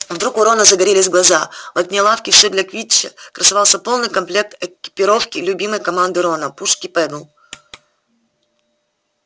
вдруг у рона загорелись глаза в окне лавки всё для квиддича красовался полный комплект экипировки любимой команды рона пушки педдл